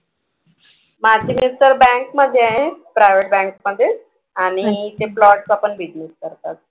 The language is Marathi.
माझे mister bank मध्ये आहेत. privet bank मध्ये आणि ते plot चा पण business करतात.